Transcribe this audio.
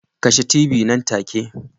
Kashe t.v nan take